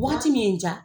Waati min ja